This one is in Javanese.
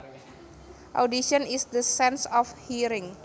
Audition is the sense of hearing